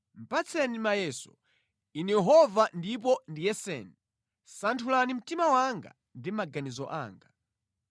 Patseni mayeso, Inu Yehova ndipo ndiyeseni, santhulani mtima wanga ndi maganizo anga;